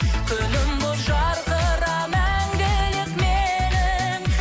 күнім болып жарқыра мәңгілік менің